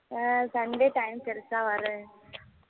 அஹ் sunday time கிடச்சா வரேன்